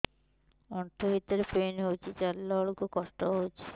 ଆଣ୍ଠୁ ଭିତରେ ପେନ୍ ହଉଚି ଚାଲିଲା ବେଳକୁ କଷ୍ଟ ହଉଚି